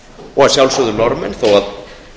og að sjálfsögðu norðmenn þó að